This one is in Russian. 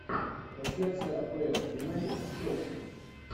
трансляция апл юнайтед с челси